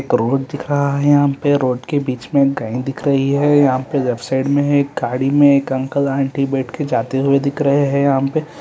एक रोड दिख रहा है यहाँ पे रोड के बीच मे गाय दिख रही है यहाँ पे लेफ्ट साइड में है एक गाड़ी में एक अंकल आंटी बैठ के जाते हुए दिख रहे है यहाँ पे --